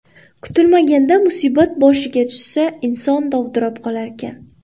Kutilmaganda musibat boshiga tushsa, inson dovdirab qolarkan.